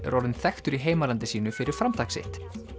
er orðinn þekktur í heimalandi sínu fyrir framtak sitt